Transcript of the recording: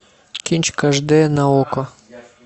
кинчик аш д на окко